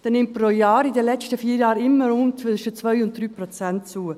Dieser nimmt pro Jahr in den letzten vier Jahren immer zwischen rund 2 und 3 Prozent zu.